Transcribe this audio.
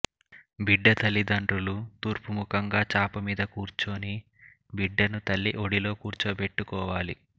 బిడ్డ తల్లిదండ్రులు తూర్పుముఖంగా చాప మీద కూర్చుని బిడ్డను తల్లి ఒడిలో కూర్చోబెట్టుకోవాలి